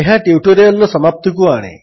ଏହା ଟ୍ୟୁଟୋରିଆଲ୍ର ସମାପ୍ତିକୁ ଆଣେ